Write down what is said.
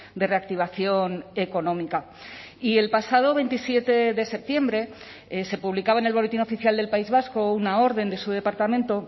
de reactivación económica y el pasado veintisiete de septiembre se publicaba en el boletín oficial del país vasco una orden de su departamento